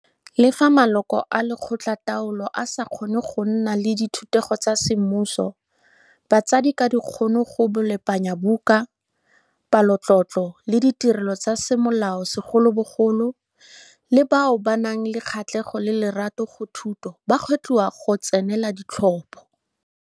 Le fa maloko a lekgotlataolo a sa tlhoke go nna le dithutego tsa semmuso, batsadi ka dikgono go bolepanyabuka, palotlotlo le ditirelo tsa semolao segolobogolo, le bao ba nang le kgatlhego le lerato go thuto ba gwetlhiwa go tsenela ditlhopho.